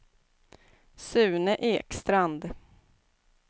Sune Ekstrand